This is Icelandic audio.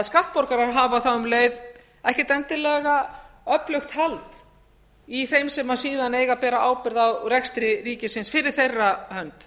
skattborgarar hafa þá um leið ekkert endilega öflugt hald í þeim sem síðan eiga að bera ábyrgð á rekstri ríkisins fyrir þeirra hönd